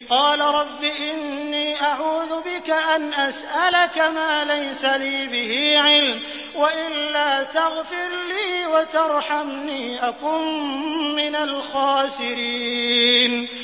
قَالَ رَبِّ إِنِّي أَعُوذُ بِكَ أَنْ أَسْأَلَكَ مَا لَيْسَ لِي بِهِ عِلْمٌ ۖ وَإِلَّا تَغْفِرْ لِي وَتَرْحَمْنِي أَكُن مِّنَ الْخَاسِرِينَ